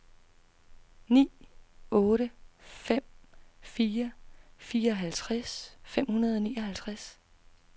ni otte fem fire fireoghalvtreds fem hundrede og nioghalvtreds